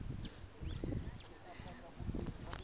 ding le tse ding tse